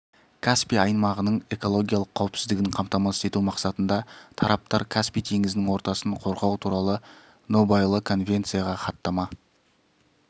каспий аймағының экологиялық қауіпсіздігін қамтамасыз ету мақсатында тараптар каспий теңізінің ортасын қорғау туралы нобайлы конвенцияға хаттама